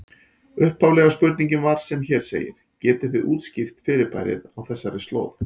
Upphaflega spurningin var sem hér segir: Getið þið útskýrt fyrirbærið á þessari slóð?